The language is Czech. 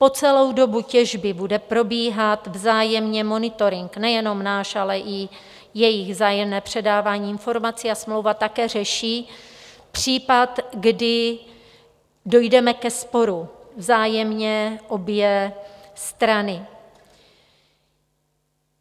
Po celou dobu těžby bude probíhat vzájemně monitoring nejenom náš, ale i jejich, vzájemné předávání informací a smlouva také řeší případ, kdy dojdeme ke sporu, vzájemně obě strany.